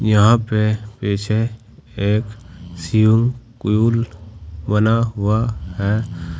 यहां पे पीछे एक शिव हुआ है।